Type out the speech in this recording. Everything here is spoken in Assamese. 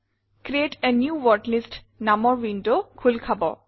ক্ৰিএট a নিউ ৱৰ্ডলিষ্ট নামৰ ৱিণ্ডৱ খোলখাব